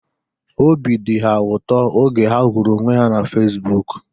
Obi dị ha ụtọ oge ha hụrụ onwe ha na Fesbụụk